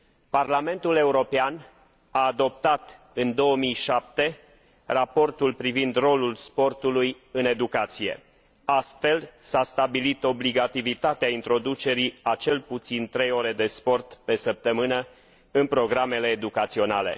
Parlamentul European a adoptat, în 2007, Raportul privind rolul sportului în educație. Astfel, s a stabilit obligativitatea introducerii a cel puțin trei ore de sport pe săptămână în programele educaționale.